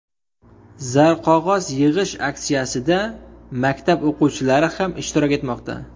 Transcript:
Zarqog‘oz yig‘ish aksiyasida maktab o‘quvchilari ham ishtirok etmoqda.